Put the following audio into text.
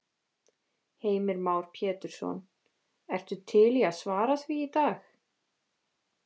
Heimir Már Pétursson: Ertu til í að svara því í dag?